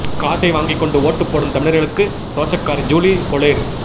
காசை வாங்கிக் கொண்டு ஓட்டு போடும் தமிழர்களுக்கு ரோஷக்காரி ஜூலி பொளேர்